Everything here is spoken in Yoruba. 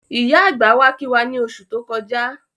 Ìyá àgbà wá kí wá ní oṣù tó kọjá